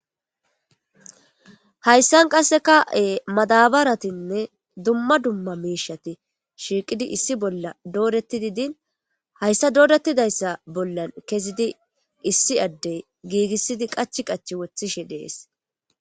hayssan qasse ka7e madabaratinne dumma dumma miishati shiiqidi issi bolla dooretti didin hayssa doorettidayssa bollan kezidi issi addey giigissidi qach qachi woththishe dees